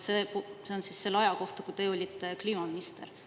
See on siis selle aja kohta, kui te olite kliimaminister.